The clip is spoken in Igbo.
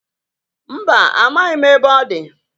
Mba, amaghị ebe ọ dị.